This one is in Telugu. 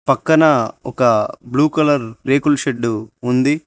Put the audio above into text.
పక్కన ఒక బ్లూ కలర్ రేకుల్ షెడ్డు ఉంది.